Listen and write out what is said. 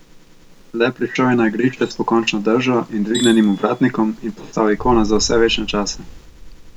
Le prišel je na igrišče s pokončno držo in dvignjenim ovratnikom in postal ikona za vse večne čase.